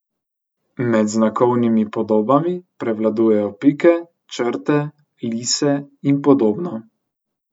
Med znakovnimi podobami prevladujejo pike, črte, lise in podobno.